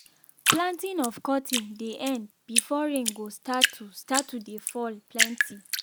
planting of cotton dey end before rain go start to start to dey fall plenti.